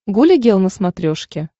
гуля гел на смотрешке